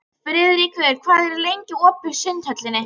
Hvaða ástæðu hafði hún svo sem til að lifa?